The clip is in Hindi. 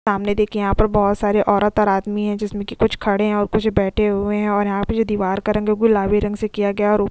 सामने देखिए यहां पर बहुत सारे औरत और आदमी हैं जिसमें कि कुछ खड़े हैं और कुछ बैठे हुए हैं और यहां पे जो दीवार का रंग है गुलाबी रंग से किया गया है औरो --